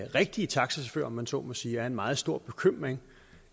rigtige taxachauffører om man så må sige er en meget stor bekymring